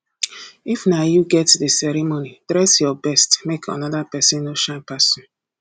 if na you get di ceremony dress your best make another persin no shine pass you